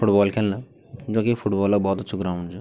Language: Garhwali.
फुटबॉल खिलना जोकि फुटबॉल क भोत अछू ग्राउंड च।